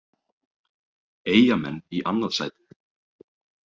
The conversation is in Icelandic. Eyjamenn í annað sætið